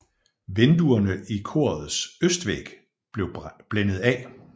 Vinduerne i korets østvæg blev blændet af